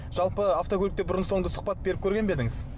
жалпы автокөлікте бұрын соңды сұхбат беріп көрген бе едіңіз